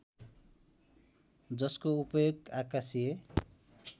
जसको उपयोग आकाशीय